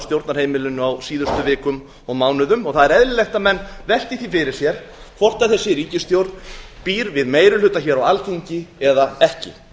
stjórnarheimilinu á síðustu vikum og mánuðum það er eðlilegt að menn velti því fyrir sér hvort þessi ríkisstjórn býr við meiri hluta hér á alþingi eða ekki